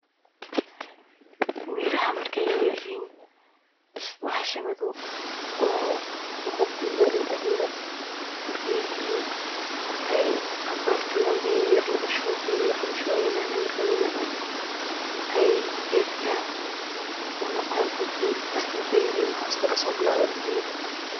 Miraha markey yaryaryihin bahasha madow gudaheda aya lugudex ridaya markey yaryihin. Markey cabaar jogan oo biyo yar lugushubo wey weynanayin markey weynadan aya gedka noqonaya ged ween lakin marki hoos wa muhiimada.